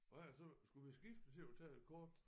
Hvad er det så skulle vi skiftes til at tage et kort?